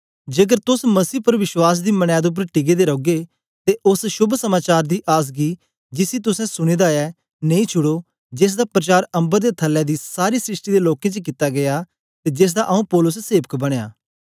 जेकर तोस मसीह पर विश्वास दी मनैद उपर टिके दे रौगे ते ओस शोभ समाचार दी आस गी जिसी तुसें सुने दा ऐ नेई छुड़ो जेसदा प्रचार अम्बर दे थल्लै दी सारी सृष्टि दे लोकें च कित्ता गीया ते जेसदा आऊँ पौलुस सेवक बनया